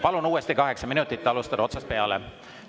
Palun uuesti kaheksa minutit, alustada otsast peale!